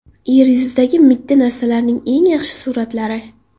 Yer yuzidagi mitti narsalarning eng yaxshi suratlari.